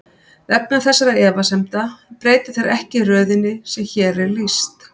Vegna þessara efasemda breyta þeir ekki röðinni sem hér er lýst.